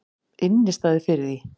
Innistæðu fyrir því!